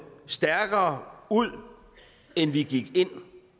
stærkere ud end vi gik ind